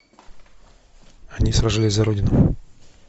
они сражались за родину